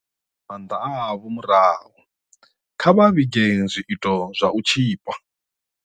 Kha vha dzhie maanḓa avho murahu, kha vha vhige zwiito zwa u tzhipa.